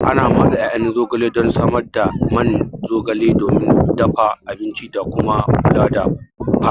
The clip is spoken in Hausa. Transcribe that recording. Ana matse ƴaƴan zogale don samar da man zogale domin dafa abinci da kuma kula da fata.